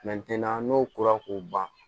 n'o kora k'o ban